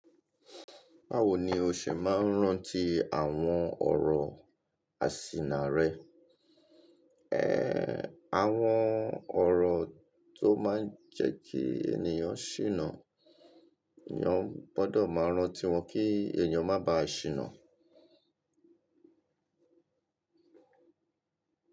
Báwo ni o ṣe máa ń rántí àwọn ọ̀rọ̀ àsìnà rẹ? Ẹ, àwọn ọ̀rọ̀ tó máa ń jẹ́ kí ènìyàn ṣìnà, èeyan gbọ́dọ̀ máa rántí wọn kí èeyan má bá à ṣìnà.